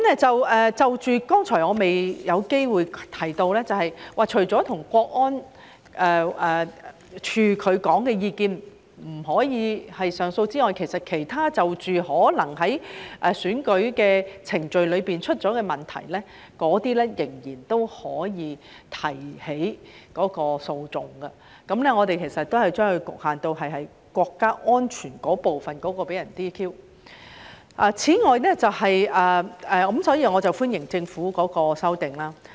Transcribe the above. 就着剛才我未有機會提到的，便是除了國安處的意見不可上訴之外，就着其他在選舉程序中可能出現的問題，那些仍然可以提起訴訟，而我們只是將其局限在因國家安全部分被 "DQ" 的情況，所以我歡迎政府的修訂。